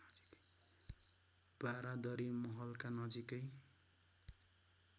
बारादरी महलका नजिकै